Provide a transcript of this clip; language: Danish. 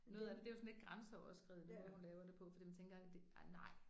Noget af det det er jo sådan lidt grænseoverskridende den måde hun laver det på fordi man tænker nej